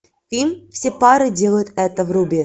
фильм все пары делают это вруби